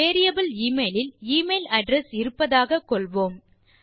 variable email இல் email address இருப்பதாக கொள்வோம்